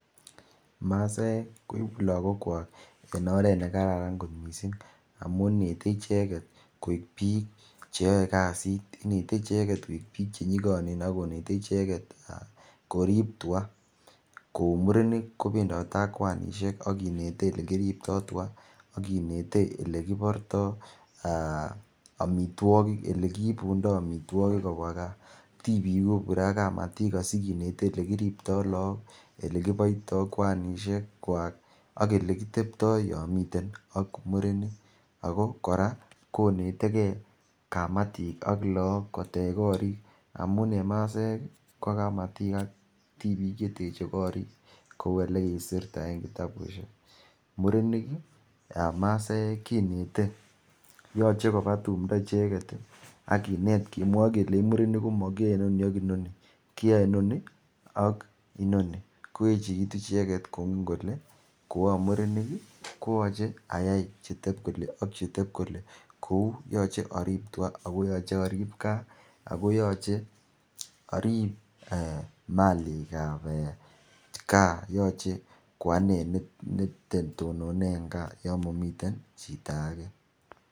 Masaek koipu laakwach eng oret nekararan kot mising amun netei icheket koek piik cheyoei kasit ngetei icheket koek piik chenyikonen akonetei icheket korip tuka kou murenik kopendotei ak kwanishek akinetei elekiriptoi tuka akinetei olekiportoi amitwokik olekiipundoi omitwokik kopwa kaa tipiik kopure ak kamatik asikinetei elekiriptoi laak elekipoitoi kwanishek kwak ak olekiteptoi yo miten ak murenik ako kora konetekei kamatik ak laak kotech korik amun eng masaek ko kamatik ak tipik cheteche korik kou ole kikiserta eng kitabushek murenik masaek kinetei yochei kopa tumdo icheket akinet kemwoi kelech murenik komakiyoe ni ak noni koayei noni ak inoni koechekitu icheket kingen kole koai murenik koyachei ayai chutep kole ak chetepkole kou yoche arip tuka akoyochei arip kaa akoyochei arip Malik ap kaa yochei koane netononei en kaa yo mamiten chiton ake